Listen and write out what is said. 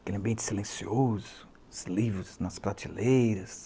Aquele ambiente silencioso, os livros nas prateleiras.